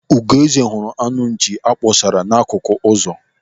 Ugoeze hụrụ anụ nchi akpọsara n'akụkụ ụzọ.